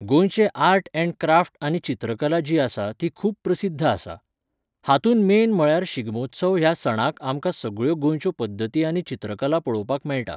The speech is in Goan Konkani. गोंयचे आर्ट ऍण्ड क्राफ्ट आनी चित्रकला जी आसा ती खूब प्रसिद्ध आसा. हातूंत मेन म्हळ्यार शिगमोत्सव ह्या सणाक आमकां सगळ्यो गोंयच्यो पद्दती आनी चित्रकला पळोवपाक मेळटा.